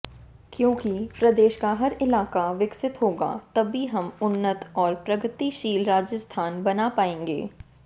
क्योंकि प्रदेश का हर इलाका विकसित होगा तभी हम उन्नत और प्रगतिशील राजस्थान बना पाएंगे